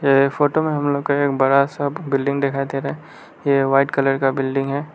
ये फोटो में हम लोग का एक बड़ा सब बिल्डिंग दिखाई दे रहा ये वाइट कलर का बिल्डिंग है।